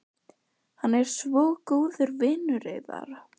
Hann er svo góður vinur yðar.